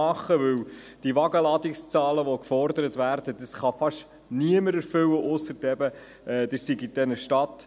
Denn die Wagenladungszahlen, die gefordert werden, kann fast niemand erfüllen, ausser es sei eine Stadt.